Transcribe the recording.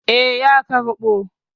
Eh, ya karɓo.